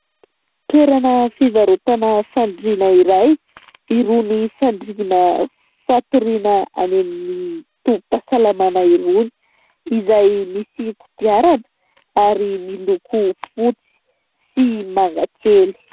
Toerana fivarotana fandriana iray, irony fandrina fatoriana any amin'ny tobim-pahasalamana irony izay misy kodiarana ary miloko fotsy sy mangakely.